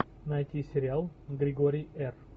найти сериал григорий р